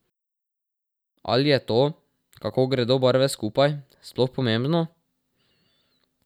Ali je to, kako gredo barve skupaj, sploh pomembno?